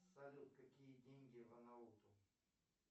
салют какие деньги в анауту